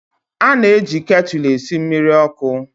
A na-eji ktụlụ esi mmiri ọkụ